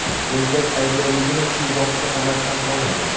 Erkak aybdorligini shu vaqtga qadar tan olmagan.